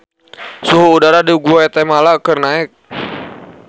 Suhu udara di Guatemala keur naek